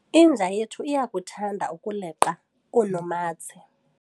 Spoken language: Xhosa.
inja yethu iyakuthanda ukuleqa oonomatse